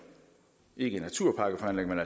ikke naturpakkeforhandlingerne